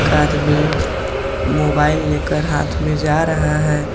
आदमी मोबाइल लेकर हाथ में जा रहा है।